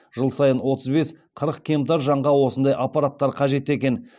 жыл сайын отыз бес қырық кемтар жанға осындай аппараттар қажет екен